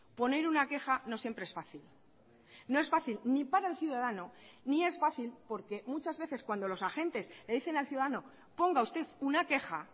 poner una queja no siempre es fácil no es fácil ni para el ciudadano ni es fácil porque muchas veces cuando los agentes le dicen al ciudadano ponga usted una queja